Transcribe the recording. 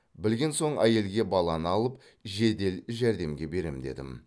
білген соң әйелге баланы алып жедел жәрдемге берем дедім